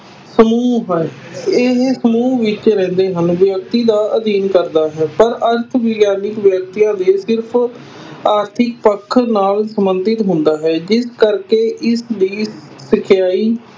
ਸਮੂਹ ਹੈ, ਇਹ ਸਮੁਹ ਵਿਚ ਰਹਿੰਦੇ ਹਨ ਵਿਅਕਤੀ ਦਾ ਅਧਿਐਨ ਕਰਦਾ ਹੈ, ਪਰ ਅਰਥ ਵਿਗਿਆਨੀ ਵਿਅਕਤੀਆਂ ਦੇ ਸਿਰਫ਼ ਆਰਥਿਕ ਪੱਖ ਨਾਲ ਸੰਬੰਧਿਤ ਹੁੰਦਾ ਹੈ ਜਿਸ ਕਰਕੇ ਇਸ ਦੀ ਇਕਾਈ